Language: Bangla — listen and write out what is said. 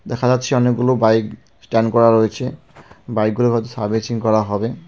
দেখা যাচ্ছে অনেকগুলো বাইক স্ট্যান্ড করা রয়েছে বাইকগুলো হয়তো সার্ভিসিং করা হবে.